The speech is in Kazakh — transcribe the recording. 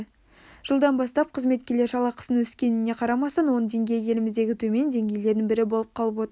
жылдан бастап қызметкерлер жалақысының өскеніне қарамастан оның деңгейі еліміздегі төмен деңгейлердің бірі болып қалып отыр